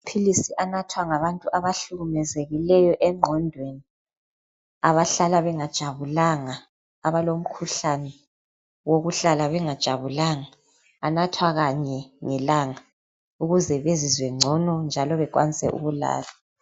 Philisi anathwa ngabantu abahlukumezekileyo engqondweni abahlala bengajabulanga, abalomkhuhlane wokuhlala bengajabulanga anathwa kanye ngelanga ukuze bezizwe ngcono njalo bekwanise ukulala.